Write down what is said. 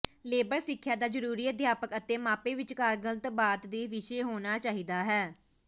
labour ਸਿੱਖਿਆ ਦਾ ਜ਼ਰੂਰੀ ਅਧਿਆਪਕ ਅਤੇ ਮਾਪੇ ਵਿਚਕਾਰ ਗੱਲਬਾਤ ਦੇ ਵਿਸ਼ੇ ਹੋਣਾ ਚਾਹੀਦਾ ਹੈ